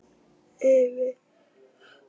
Yfir móðuna miklu.